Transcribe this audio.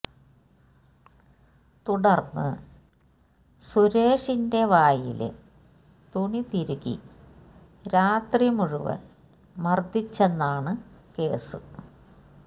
തുടര്ന്ന് സുരേഷിന്റെ വായില് തുണി തിരുകി രാത്രി മുഴുവന് മര്ദിച്ചെന്നാണു കേസ്